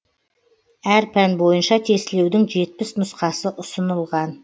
әр пән бойынша тестілеудің жетпіс нұсқасы ұсынылған